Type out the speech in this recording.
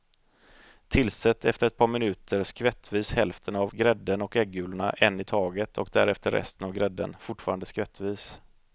Tillsätt efter ett par minuter skvättvis hälften av grädden och äggulorna en i taget och därefter resten av grädden, fortfarande skvättvis.